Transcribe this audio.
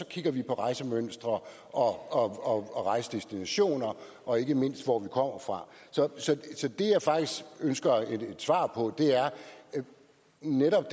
kigger vi på rejsemønstre og og rejsedestinationer og ikke mindst på hvor man kommer fra så det jeg faktisk ønsker et svar på er netop